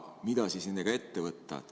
Mida nendega ette võtta?